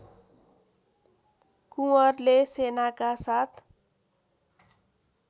कुँवरले सेनाका साथ